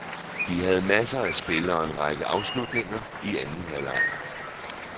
De havde masser af spil og en række afslutninger i anden halvleg.